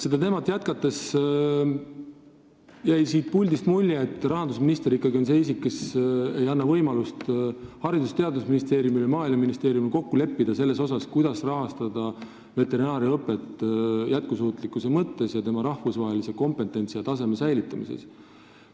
Seda teemat jätkates: varem jäi mulje, et ikkagi rahandusminister on see isik, kes ei anna Haridus- ja Teadusministeeriumile ning Maaeluministeeriumile võimalust kokku leppida selles, kuidas rahastada veterinaariaõpet jätkusuutlikkuse ning tema rahvusvahelise kompetentsi ja taseme säilitamise mõttes.